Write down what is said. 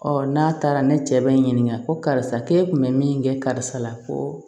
n'a taara ne cɛ bɛ n ɲininka ko karisa k'e kun bɛ min kɛ karisa la ko